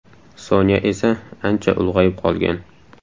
Sonya esa ancha ulg‘ayib qolgan.